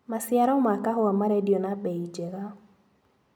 Maciaro ma kahũa marendio na mbei njega.